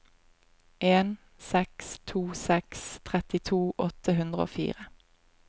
en seks to seks trettito åtte hundre og fire